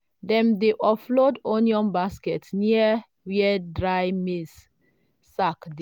dem dey offload onion baskets near where dry maize sacks dey.